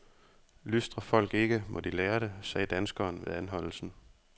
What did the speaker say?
Lystrer folk ikke, må de lære det, sagde danskeren ved anholdelsen.